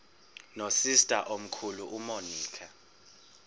nosister omkhulu umonica